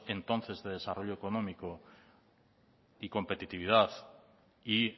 entonces de desarrollo económico y competitividad y